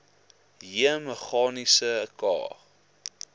j meganiese k